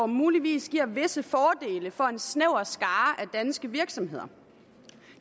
muligvis giver visse fordele for en snæver skare af danske virksomheder